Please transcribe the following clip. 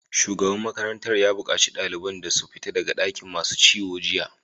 Shugaban makarantar ya bukaci ɗaliban su fita daga dakin masu ciwo jiya!